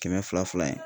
Kɛmɛ fila fila ye